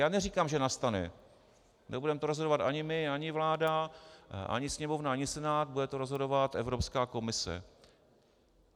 Já neříkám, že nastane, nebudeme to rozhodovat ani my, ani vláda, ani Sněmovna, ani Senát, bude to rozhodovat Evropská komise.